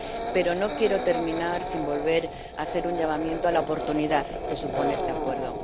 Pero no quiero terminar sin volver a hacer un llamamiento a la oportunidad que supone este Acuerdo.